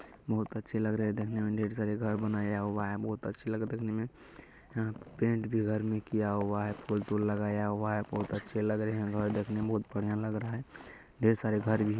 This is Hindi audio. बोहोत अच्छे लग रहे हैं देखने में ढेर सारे घर बनाया हुआ हैं बोहोत अच्छे लग रहे हैं देखने में। यहाँ पेंट भी घर में किया हुआ है। फूल तूल लगाया हुआ है। बोहोत अच्छे लग रहे हैं घर देखने में बोहोत बढ़िया लग रहा है। ढेर सारे घर भी हैं।